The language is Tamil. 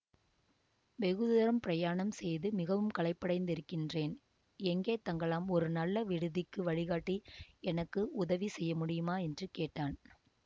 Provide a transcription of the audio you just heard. வெகு தூரம் பிரயாணம் செய்து மிகவும் களைப்படைந்திருக்கின்றேன் எங்கே தங்கலாம் ஒரு நல்ல விடுதிக்கு வழிகாட்டி எனக்கு உதவி செய்ய முடியுமா என்று கேட்டான்